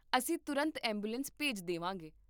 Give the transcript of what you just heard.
ਅਸੀਂ ਤੁਰੰਤ ਐਂਬੂਲੈਂਸ ਭੇਜ ਦੇਵਾਂਗੇ